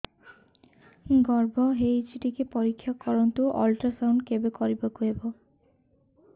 ଗର୍ଭ ହେଇଚି ଟିକେ ପରିକ୍ଷା କରନ୍ତୁ ଅଲଟ୍ରାସାଉଣ୍ଡ କେବେ କରିବାକୁ ହବ